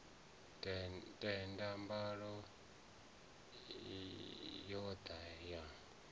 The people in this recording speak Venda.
tenda mbalo ya oda ya